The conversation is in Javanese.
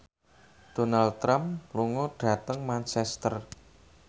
Donald Trump lunga dhateng Manchester